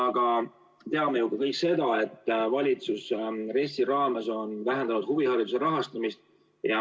Aga me teame ju ka kõik seda, et valitsus on RES‑i raames vähendanud huvihariduse rahastamist.